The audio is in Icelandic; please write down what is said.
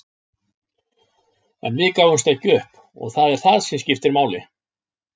En við gáfumst ekki upp og það er það sem skiptir máli.